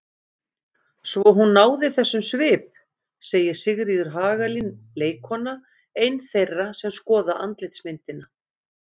Svo hún náði þessum svip segir Sigríður Hagalín leikkona, ein þeirra sem skoða andlitsmyndina.